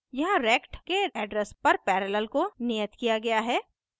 यहाँ rect के address पर पैरेलल को नियत किया गया है